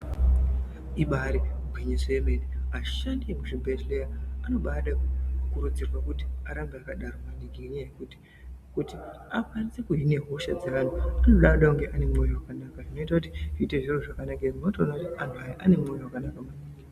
Ibari gwinyiso yemene vashandi vekuzvibhehleya anoda kukurudzirwa kuti arambe akadaro maningi ngenyaya yekuti akwanise kuhina hosha dzevantu anoda kunge ane mwoyo wakanaka zvinoita kuti zviite zviro zvakanaka munotoona kuti anhu aya ane mwoyo wakanaka.